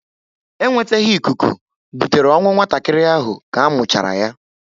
E nweteghi ikuku butere ọnwụ nwatakịrị ahụ ka muchara yá